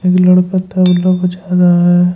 ये लड़का तबला बजा रहा है।